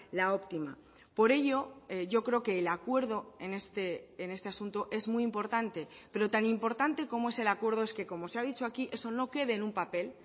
la óptima por ello yo creo que el acuerdo en este asunto es muy importante pero tan importante como es el acuerdo es que como se ha dicho aquí eso no quede en un papel